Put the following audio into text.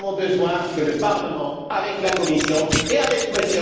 Nous avons donc besoin que le Parlement, avec la Commission et avec M.